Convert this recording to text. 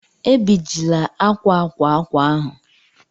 Ebijila akwa akwa akwa ahụ!